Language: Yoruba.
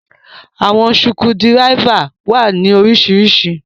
Àwọn sukudiráífa wa ni oríṣiríṣí.